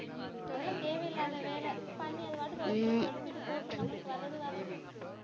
அதெல்லாம் தேவையில்லாத வேலை பண்ணி அது பாட்டுக்கு போட்டு நம்மளுக்கு வர்றது வரட்டும்